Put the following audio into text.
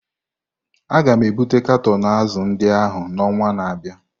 A ga-ebute katọn azụ̀ ndị ahụ n'ọnwa na-abịa.